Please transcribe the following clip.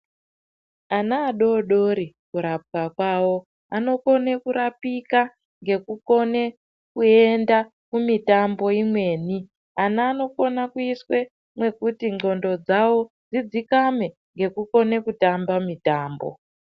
Ana adodori kurapwa kwawo, anokone kurapika ngekukone kuenda kumitambo imweni. Ana anokone kuiswa mwekuti ndxondo dzavo dzidzikame ngekukone kutamba mitambo.